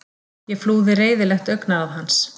Ég flúði reiðilegt augnaráð hans.